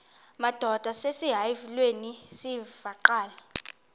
madod asesihialweni sivaqal